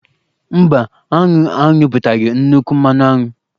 Mba, aṅụ anyụpụtaghị nnukwu mmanụ aṅụ.